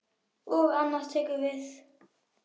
Og annað tekur við.